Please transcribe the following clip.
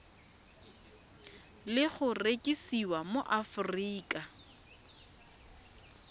le go rekisiwa mo aforika